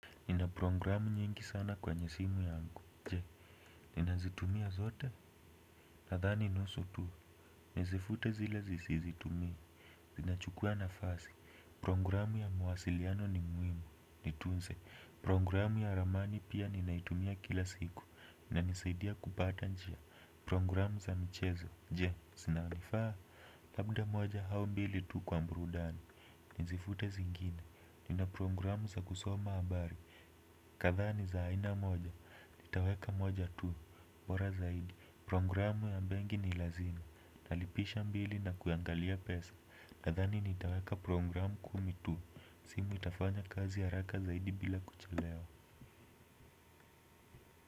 Nina programu nyingi sana kwe nyesimu yangu. Je, nina zitumia zote nadhani nusu tu. Nizifute zile sizi tumii. Zinachukua na fasi. Programu ya mawasiliano ni muhimu. Nitunze. Programu ya ramani pia ninaitumia kila siku ina nisaidia kupata njia. Programu za michezo. Je, zinanifaa. Labda moja au mbili tu kwa burudani. Nizifute zingine. Nina programu za kusoma habari. Kadha ni zaaina moja, nitaweka moja tu, bora zaidi. Programu ya benki ni lazima, talipisha bili na kuangalia pesa. Nathani nitaweka programu kumi tu, simu itafanya kazi ha raka zaidi bila kuchelewa.